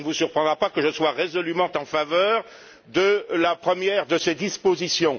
Cela ne vous surprendra pas que je sois résolument en faveur de la première de ces dispositions.